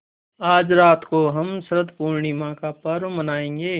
आज रात को हम शरत पूर्णिमा का पर्व मनाएँगे